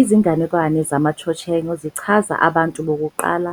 Izinganekwane zamaChochenyo zichaza "Abantu Bokuqala"